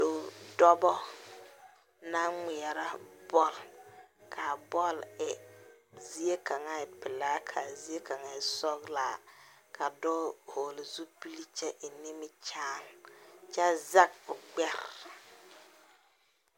Doɔ, doɔba na ŋmɛra bol. Kaa bol e zie kang e pulaa ka zie kang e sɔglaa. Ka doɔ vogle zupul kyɛ eŋ nimikyaane. Kyɛ zeg o gbɛr